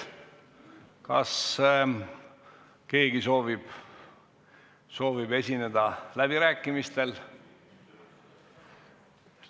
Kas keegi soovib esineda läbirääkimistel?